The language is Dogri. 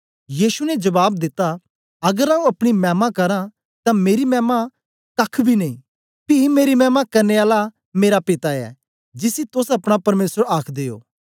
यीशु ने जबाब दिता अगर आऊँ अपनी मैमा करा तां मेरी मैमा कख्ख बी नेई पी मेरी मैमा करने आला मेरा पिता ऐ जिसी तोस अपना परमेसर आखदे ओ